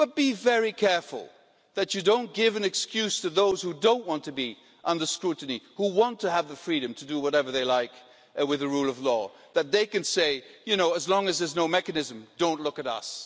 But be very careful that you don't give an excuse to those who don't want to be under scrutiny, who want to have the freedom to do whatever they like with the rule of law, that they can say, you know ʻAs long as there's no mechanism, don't look at us'.